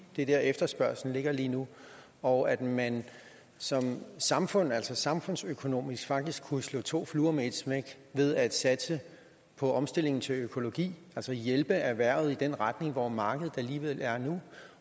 det er dér efterspørgslen ligger lige nu og at man som samfund altså samfundsøkonomisk faktisk kunne slå to fluer med et smæk ved at satse på omstilling til økologi altså hjælpe erhvervet i den retning hvor markedet alligevel er nu